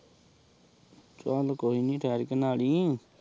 ਚਲ ਕੋਈ ਨੀ ਠਹਿਰ ਕੇ ਨਹਾ ਲਈ